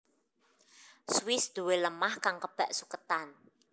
Swiss duwé lemah kang kebak suketan